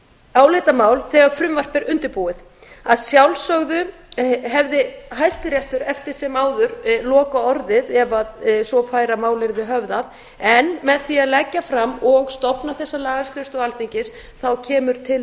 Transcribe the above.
álitamál þegar frumvarp er undirbúið að sjálfsögðu hefði hæstiréttur eftir sem áður lokaorðið ef svo færi að mál yrði höfðað en með í að leggja fram og stofna þessa lagaskrifstofu alþingis kemur til